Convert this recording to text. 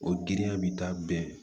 O giriya bɛ taa bɛn